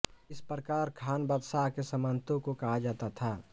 इस प्रकार खान बादशाह के सामंतों को कहा जाता था